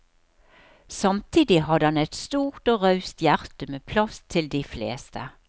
Samtidig hadde han et stort og raust hjerte, med plass til de fleste.